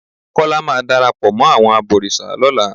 Kọ́lá máa darapọ̀ mọ́ àwọn abọ̀rìṣà lọ́la.